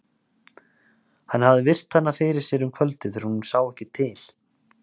Hann hafði virt hana fyrir sér um kvöldið þegar hún sá ekki til.